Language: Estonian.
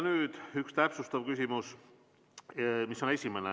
Nüüd üks täpsustav küsimus.